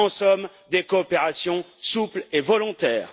En somme, des coopérations souples et volontaires.